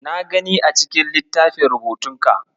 Na gani a cikin littafin rubutunka.